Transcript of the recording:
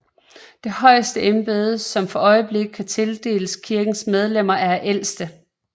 Det højeste embede som for øjeblikket kan tildeles kirkens medlemmer er ældste